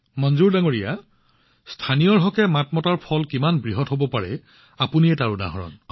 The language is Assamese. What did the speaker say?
মনজুৰ জী চাওক লোকেলৰ বাবে ভোকেলৰ শক্তি কিমান প্ৰচণ্ড আপুনি ইয়াক প্ৰকাশ কৰিছে